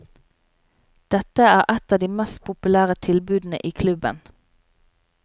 Dette er et av de mest populære tilbudene i klubben.